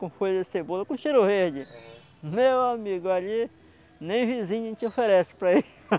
com folha de cebola com cheiro verde arram, meu amigo, ali nem vizinho te oferece para ir